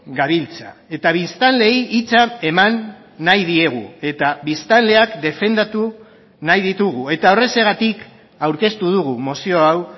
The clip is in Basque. gabiltza eta biztanleei hitza eman nahi diegu eta biztanleak defendatu nahi ditugu eta horrexegatik aurkeztu dugu mozio hau